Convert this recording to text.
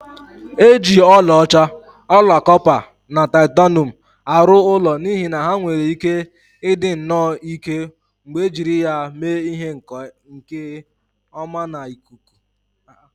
E ji ọlaọcha, ọla kọpa na titanium arụ ụlọ n'ihi na ha nwere ike ịdị nnọọ ike mgbe e jiri ya mee ihe nke ọmana ikuku